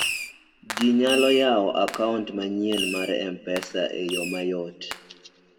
ji nyalo ywao akaount manyien mar m-pesa e yo mayot